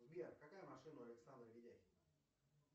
сбер какая машина у александра видякина